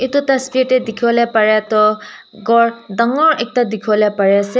te dikhibo le paria toh ghor dangor ekta dikhibo le pari ase.